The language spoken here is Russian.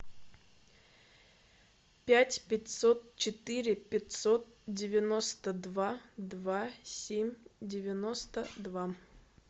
пять пятьсот четыре пятьсот девяносто два два семь девяносто два